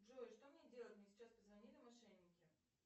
джой что мне делать мне сейчас позвонили мошенники